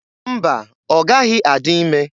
Mba, ọ gaghị adị ime.